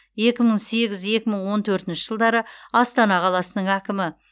екі мың сегіз екі мың он төртінші жылдары астана қаласының әкімі